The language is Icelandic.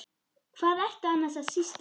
Hvað ertu annars að sýsla?